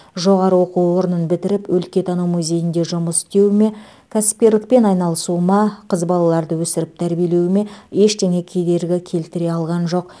жоғары оқу орнын бітіріп өлкетану музейінде жұмыс істеуіме кәсіпкерлікпен айналысуыма қыз балаларды өсіріп тәрбиелеуіме ештеңе кедергі келтіре алған жоқ